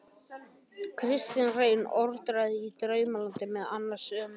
Kristinn Reyr orti í Draumalandinu meðal annars um